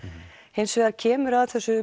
hins vegar kemur að þessum